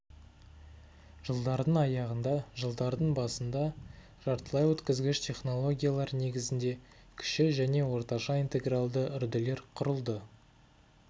жылдардың аяғында жылдардың басында жартылайөткізгіш технологиялар негізінде кіші және орташа интегралды үрділер құрылды